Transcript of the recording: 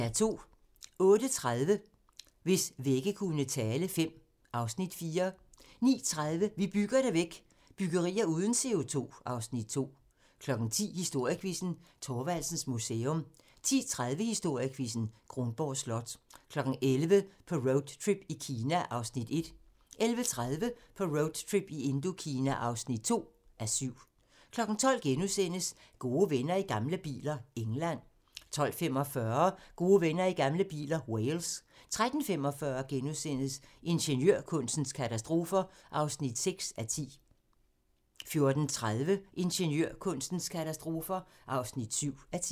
08:30: Hvis vægge kunne tale V (Afs. 4) 09:30: Vi bygger det væk – byggerier uden CO2 (Afs. 2) 10:00: Historiequizzen: Thorvaldsens Museum 10:30: Historiequizzen: Kronborg Slot 11:00: På roadtrip i Indokina (1:7) 11:30: På roadtrip i Indokina (2:7) 12:00: Gode venner i gamle biler - England * 12:45: Gode venner i gamle biler - Wales 13:45: Ingeniørkunstens katastrofer (6:10)* 14:30: Ingeniørkunstens katastrofer (7:10)